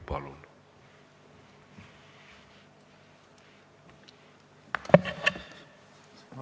Palun!